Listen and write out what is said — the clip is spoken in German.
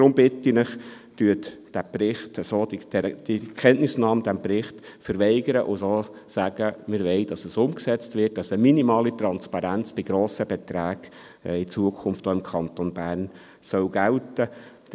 Deshalb bitte ich Sie: Verweigern Sie die Kenntnisnahme bei diesem Bericht und sagen Sie, dass wir die Umsetzung wollen, sodass eine minimale Transparenz bei grossen Beträgen in Zukunft auch im Kanton Bern gelten soll.